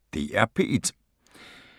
DR P1